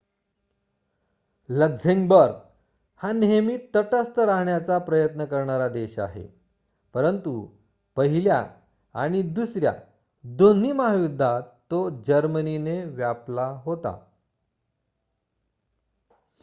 Luxembourg हा नेहमी तटस्थ राहण्याचा प्रयत्न करणारा देश आहे परंतु पहिल्या आणि दुसऱ्या दोन्ही महायुद्धात तो जर्मनीने व्यापला होता